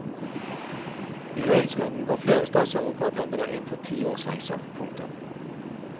I høringsrunden går flere statsadvokatembeder inn for ti års fengsel. punktum